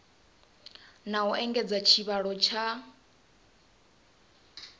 na u engedza tshivhalo tsha